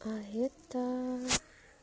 а это